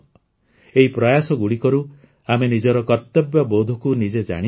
ଏହି ପ୍ରୟାସଗୁଡ଼ିକରୁ ଆମେ ନିଜର କର୍ତ୍ତବ୍ୟବୋଧକୁ ନିଜେ ଜାଣିପାରିବା